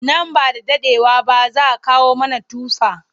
Nan ba da daɗewa ba za kawo mana tufa.